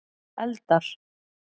eldar